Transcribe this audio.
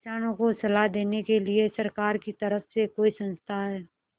किसानों को सलाह देने के लिए सरकार की तरफ से कोई संस्था है